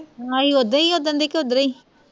ਅਹੀ ਓਦਣ ਕਿ ਓਦਣ ਦੇ ਓਧਰ ਈ